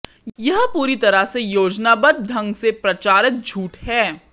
यह पूरी तरह से योजनाबद्ध ढंग से प्रचारित झूठ है